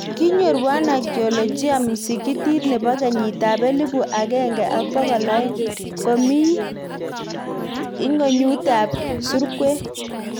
Kinyoor wanaakiolojia Msikitit nebo kenyit ab elibu agenge ak bokol aeng komi ing'onyut ab surkwen